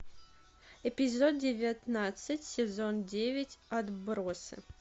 эпизод девятнадцать сезон девять отбросы